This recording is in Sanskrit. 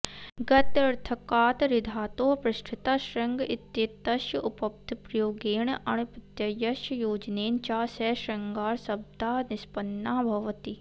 गत्यर्थकात् ऋधातोः पृष्ठतः शृङ्गइत्येतस्य उपपदप्रयोगेण अण्प्रत्ययस्य योजनेन च सह शृङ्गारशब्दः निष्पन्नः भवति